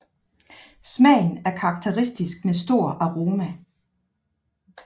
Smagen er karakteristisk med stor aroma